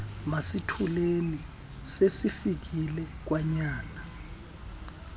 masithuleni sesifikile kwanyana